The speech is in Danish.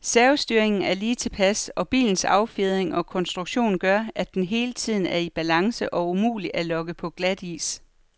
Servostyringen er lige tilpas, og bilens affjedring og konstruktion gør, at den hele tiden er i balance og umulig at lokke på glatis.